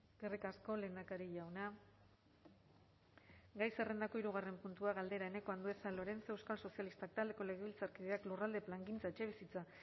eskerrik asko lehendakari jauna gai zerrendako hirugarren puntua galdera eneko andueza lorenzo euskal sozialistak taldeko legebiltzarkideak lurralde plangintza etxebizitza